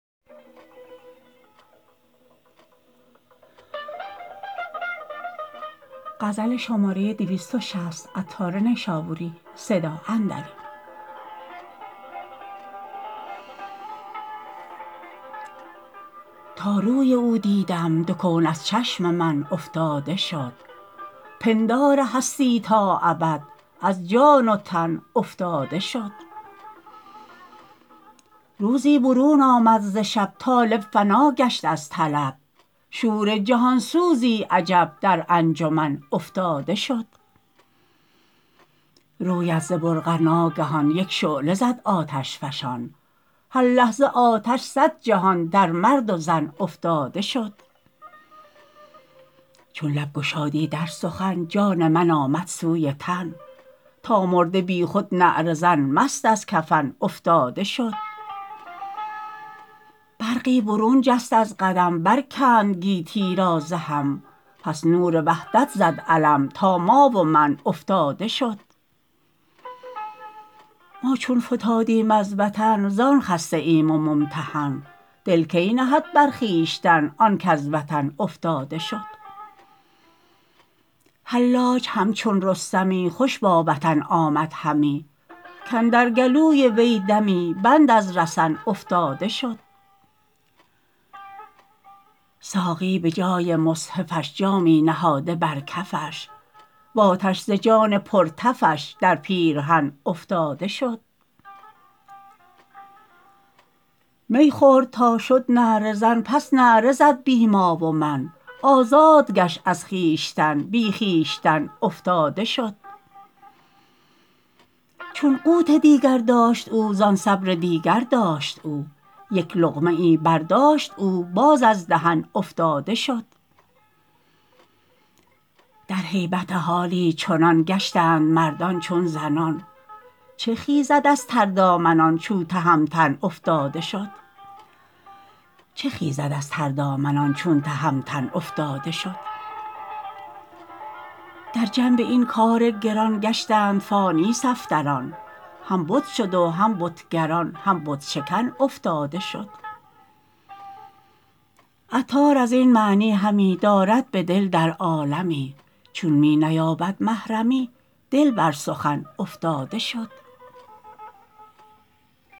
تا نور او دیدم دو کون از چشم من افتاده شد پندار هستی تا ابد از جان و تن افتاده شد روزی برون آمد ز شب طالب فنا گشت از طلب شور جهان سوزی عجب در انجمن افتاده شد رویت ز برقع ناگهان یک شعله زد آتش فشان هر لحظه آتش صد جهان در مرد و زن افتاده شد چون لب گشادی در سخن جان من آمد سوی تن تا مرده بیخود نعره زن مست از کفن افتاده شد برقی برون جست از قدم برکند گیتی را ز هم پس نور وحدت زد علم تا ما و من افتاده شد ما چون فتادیم از وطن زان خسته ایم و ممتحن دل کی نهد بر خویشتن آن کز وطن افتاده شد حلاج همچون رستمی خوش با وطن آمد همی کاندر گلوی وی دمی بند از رسن افتاده شد ساقی به جای مصحفش جامی نهاده بر کفش وآتش ز جان پر تفش در پیرهن افتاده شد می خورد تا شد نعره زن پس نعره زد بی ما و من آزاد گشت از خویشتن بی خویشتن افتاده شد چون قوت دیگر داشت او زان صبر دیگر داشت او یک لقمه ای برداشت او باز از دهن افتاده شد در هیبت حالی چنان گشتند مردان چون زنان چه خیزد از تر دامنان چو تهمتن افتاده شد در جنب این کار گران گشتند فانی صفدران هم بت شد و هم بتگران هم بت شکن افتاده شد عطار ازین معنی همی دارد بدل در عالمی چون می نیابد محرمی دل بر سخن افتاده شد